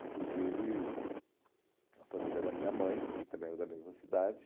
inclusive a família da minha mãe, que também era da mesma cidade.